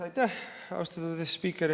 Aitäh, austatud spiiker!